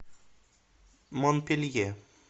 монпелье